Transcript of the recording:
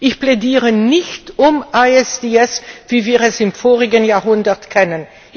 Ich plädiere nicht für ISDS, wie wir es aus dem vorigen Jahrhundert kennen.